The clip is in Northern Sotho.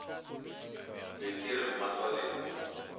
be ke re mmatswale o